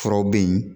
Furaw bɛ yen